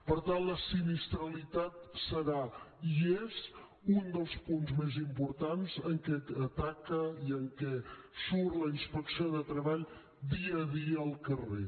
per tant la sinistralitat serà i és un dels punts més importants en què ataca i en què surt la inspecció de treball dia a dia al carrer